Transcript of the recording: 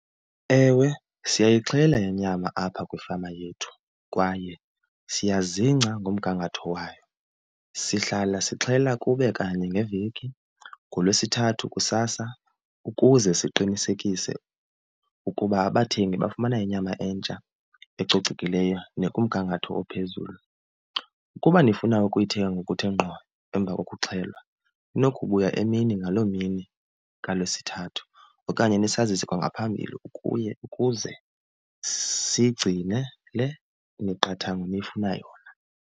Ewe, siyayixhela inyama apha kwifama yethu kwaye siyazingca ngomgangatho wayo. Sihlala sixhela kube kanye ngeveki ngoLwesithathu kusasa ukuze siqinisekise ukuba abathengi bafumana inyama entsha ecocekileyo nekumgangatho ophezulu. Ukuba nifuna ukuyithenga ngokuthe ngqo emva kokuxhelwa ninokubuya emini ngaloo mini kaLwesithathu okanye nisazise kwa ngaphambili ukuye ukuze siyigcinele imiqathango enifuna yona.